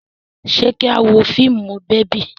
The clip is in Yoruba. Ṣé kí a wo fíìmù bèbí?